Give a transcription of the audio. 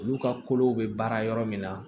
Olu ka kolow bɛ baara yɔrɔ min na